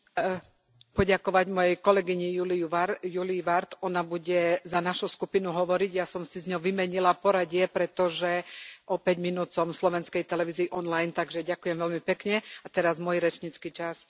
Pán predsedajúci, poďakovať mojej kolegyni Julie Ward, ona bude za našu skupinu hovoriť. Ja som si s ňou vymenila poradie, pretože o päť minút som v Slovenskej televízii online, takže ďakujem veľmi pekne, a teraz môj rečnícky čas.